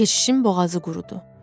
Keşişin boğazı qurudu.